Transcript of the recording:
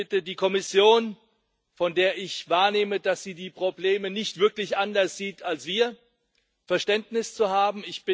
Ich bitte die Kommission von der ich wahrnehme, dass sie die Probleme nicht wirklich anders sieht als wir Verständnis zu haben.